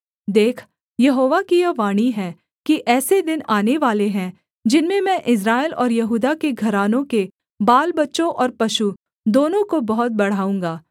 देख यहोवा की यह वाणी है कि ऐसे दिन आनेवाले हैं जिनमें मैं इस्राएल और यहूदा के घरानों के बालबच्चों और पशु दोनों को बहुत बढ़ाऊँगा